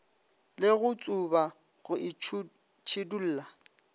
le go tsuba go itšhidulla